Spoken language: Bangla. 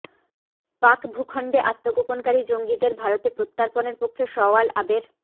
পাক ভূখণ্ডে আত্মগোপনকারী জঙ্গিদের ভারতে প্রত্যর্পণের পক্ষে সওয়াল আবের